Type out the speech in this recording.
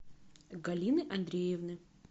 галины андреевны